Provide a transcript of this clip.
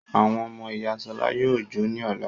Àwọn ọmọ ìyá Ṣọlá yóò jó ní ọ̀la.